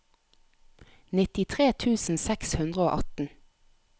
nittitre tusen seks hundre og atten